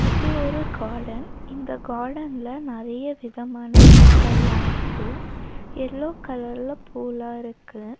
இது ஒரு கார்டன் இந்த கார்டன்ல நெறய விதமான பூக்கள்லா இருக்கு எல்லோ கலர்ல பூலா இருக்கு.